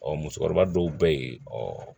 Ɔ musokɔrɔba dɔw bɛ yen ɔ